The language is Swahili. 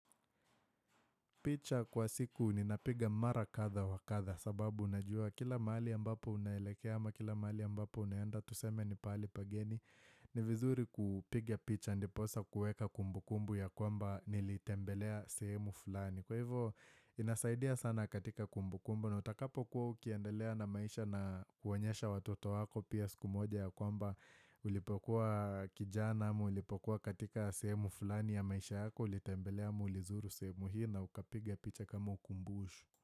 Picha kwa siku ninapiga mara kadha wa kadha sababu unajua kila mahali ambapo unaelekea ama kila mahali ambapo unaenda tuseme ni pahali pageni ni vizuri kupiga picha ndiposa kueka kumbu kumbu ya kwamba nilitembelea sehemu fulani. Kwa hivyo inasaidia sana katika kumbu kumbu na utakapo kuwa ukiendelea na maisha na kuonyesha watoto wako pia siku moja ya kwamba Ulipokuwa kijana ama ulipokuwa katika sehemu fulani ya maisha yako ulitembelea ama ulizuru sehemu hii na ukapiga picha kama ukumbushu.